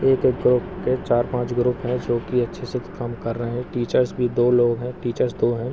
एक एक करके चार-पांच ग्रुप है जो की अच्छे से काम कर रहे हैं टीचर्स भी दो लोग हैं टीचर्स दो हैं।